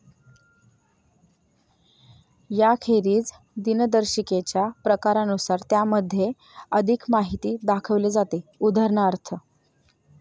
याखेरीज दिनदर्शिकेच्या प्रकारानुसार त्यामध्ये अधिक माहिती दाखवली जाते, उदा.